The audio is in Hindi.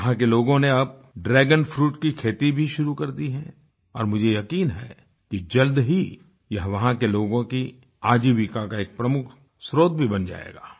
वहाँ के लोगों ने अब ड्रैगन फ्रूट की खेती भी शुरू कर दी है और मुझे यकीन है कि जल्द ही ये वहाँ के लोगों की आजीविका का प्रमुख स्त्रोत भी बन जायेगा